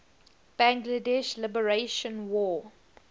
bangladesh liberation war